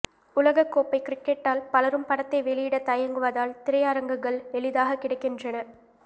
உலகக் கோப்பை கிரிக்கெட்டால் பலரும் படத்தை வெளியிட தயங்குவதால் திரையரங்குகள் எளிதாக கிடைக்கின்றன